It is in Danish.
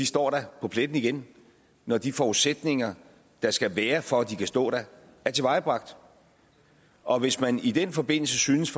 står der på pletten igen når de forudsætninger der skal være for at de kan stå der er tilvejebragt og hvis man i den forbindelse synes